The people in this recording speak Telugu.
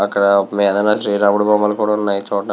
అక్కడ మీదన శ్రీరాముడి బొమ్మలు కూడా ఉన్నాయి చూడ్డానికి --